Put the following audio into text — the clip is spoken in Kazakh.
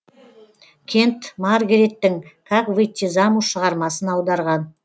кент маргареттің как выйти замуж шығармасын аударған